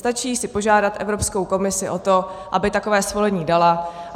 Stačí si požádat Evropskou komisi o to, aby takové svolení dala.